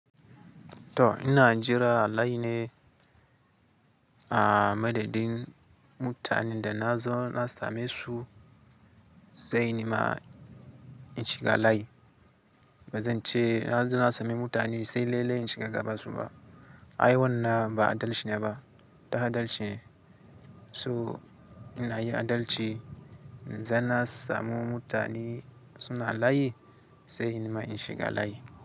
To ina jira layi ne a madadin mutanen da na zauna same su sai nima in shiga layi. Ba zan ce na zo na sami mutane sai lelei in shiga gaba suma. Ai wannan ba adalci ne ba. Tah adalci so ina yi adalci idan na samu mutane suna layi sai nima in shiga layi.